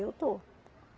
Eu estou.